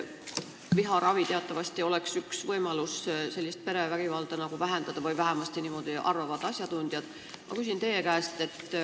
Viharavi oleks üks võimalusi perevägivalda vähendada, vähemasti arvavad niimoodi asjatundjad.